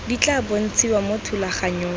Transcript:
di tla bontshiwa mo thulaganyong